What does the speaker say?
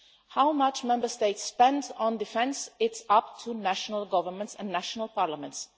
How much Member States spend on defence is up to national governments and national parliaments.